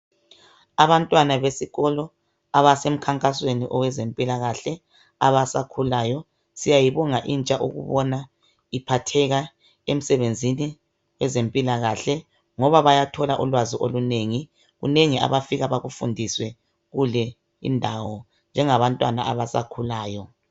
Abantwana besikolo abasemkhankasweni owezempilakahle abasakhulayo. Siyayibonga intsha ukubona iphatheka emsebenzini wezempilakahle ngoba bayathola ulwazi olunengi. Kunengi abafika bakufundiswe kule indawo njengabantwana abasakhulayo.